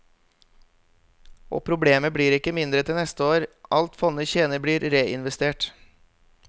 Og problemet blir ikke mindre til neste år, alt fondet tjener blir reinvestert.